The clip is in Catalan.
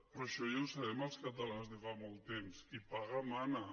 però això ja ho sabem els catalans de fa molt temps qui paga mana